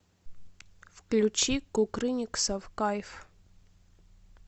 включи кукрыниксов кайф